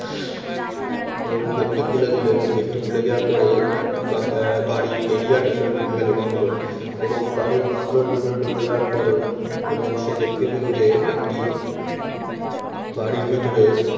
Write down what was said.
এবং gate টি খুলে দিল এবং gate টি খুলে দেওয়ার পরে দেওয়ার পরে বাড়ির area র ভেতর ঢুকে গেল বাংলোর এবং বাড়ির বাংলোর ভেতরে ঢুকে যাওয়ার পরে এবং সে দেখতে পেল যে একটি বাড়ির ভেতরে